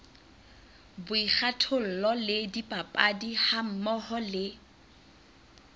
boikgathollo le dipapadi hammoho le